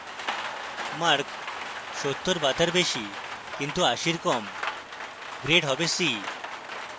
mark 70 be তার বেশী কিন্তু 80 এর কম grade হবে c